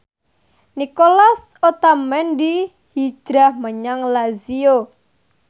Nicolas Otamendi hijrah menyang Lazio